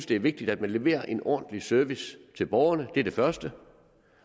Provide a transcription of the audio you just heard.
det er vigtigt at man leverer en ordentlig service til borgerne det er det første